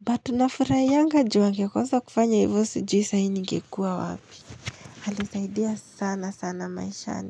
But nafurahianga juu angekosa kufanya hivyo sijui saa hii nigekuwa wapi Alisaidia sana sana maishani.